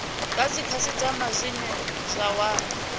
kha dzikhasitama dzine dza wana